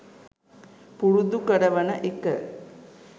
පුරුදු කරවන එක